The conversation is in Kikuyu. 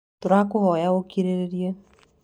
Tũrahoya ũkirĩrĩrie.